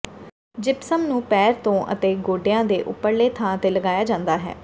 gypsum ਨੂੰ ਪੈਰ ਤੋਂ ਅਤੇ ਗੋਡਿਆਂ ਦੇ ਉਪਰਲੇ ਥਾਂ ਤੇ ਲਗਾਇਆ ਜਾਂਦਾ ਹੈ